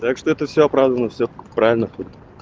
так что это все оправдано все правильно хули